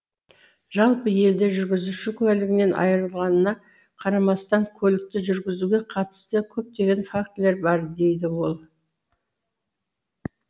жалпы елде жүргізуші куәлігінен айырылғанына қарамастан көлікті жүргізуге қатысты көптеген фактілер бар дейді ол